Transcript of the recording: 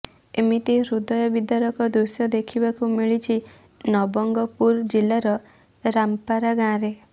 ଏମିତି ହୃଦୟ ବିଦାରକ ଦୃଶ୍ୟ ଦେଖିବାକୁ ମିଳିଛି ନବଙ୍ଗପୁର ଜିଲ୍ଲାର ରାମପାରା ଗାଁରେ